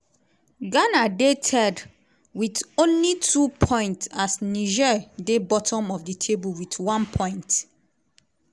ghana dey third wit only 2 points as niger dey bottom of di table wit one point.